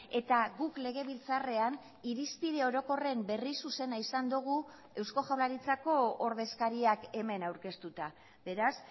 eta guk legebiltzarrean irizpide orokorren berri zuzena izan dugu eusko jaurlaritzako ordezkariak hemen aurkeztuta beraz